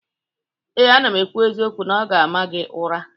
Ee, m na-ekwu eziokwu na ọ ga-ama gị ụra